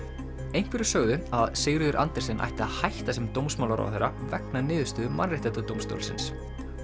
einhverjir sögðu að Sigríður Andersen ætti að hætta sem dómsmálaráðherra vegna niðurstöðu Mannréttindadómstólsins